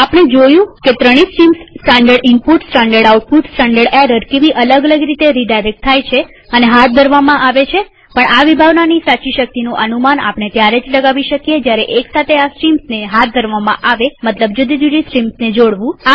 આપણે જોયું કે ત્રણેય streams standard input standard output standard error કેવી અલગ અલગ રીતે રીડાયરેક્ટ થાય છે અને હાથ ધરવામાં આવે છેપણ આ વિભાવનાની સાચી શક્તિનું અનુમાન આપણે ત્યારે લગાવી શકીએ જયારે એક સાથે આ સ્ટ્રીમ્સને હાથ ધરવામાં આવેમતલબ જુદી જુદી સ્ટ્રીમ્સને જોડવું